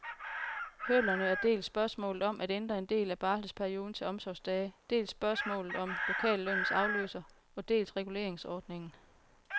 Hurdlerne er dels spørgsmålet om at ændre en del af barselsperioden til omsorgsdage, dels spørgsmålet om lokallønnens afløser og dels reguleringsordningen.